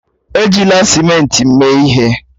Ejila simenti mee ihe